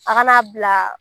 A kana bila